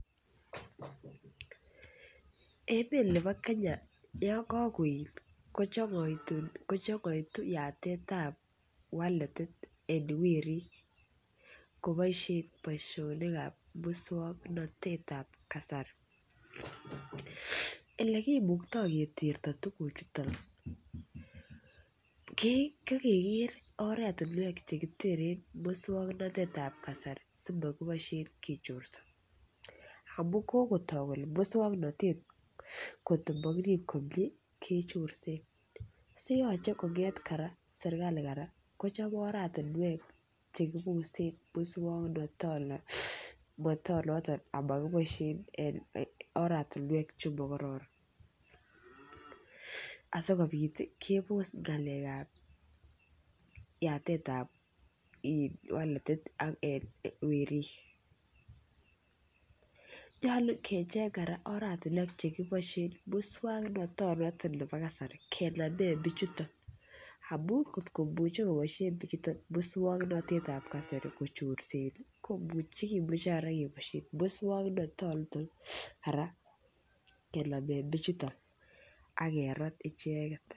Emet nebo Kenya yon kogoet kochong'oitu yatetab waletit en werik koboisie muswoknatet ab kasari. Ele kimukto keterto tuguchoto ko keger oret che kiteren muswoknatet ab kasari simokiboisien kechorso. Amun kogotok kele muswoknatet kotko mokirib komie kechorsen, so yoche kong'et kora serkalit kora kochop oratinwek che kibosen muswoknatonoto amo kiboisien oratinwek chemo kororon asikobit kebos ng'alek ab yatet ab waletit werik. Nyolu kecheng kora oratinwek chekiboisien muswoknatonoto chebo kasari kenamen bichuto amun kotkomuche koboisien bichuto moswoknatet ab kasari kochorsen kimuche kora keboisien muswoknatonito kenamen bichuto ak kerat icheget.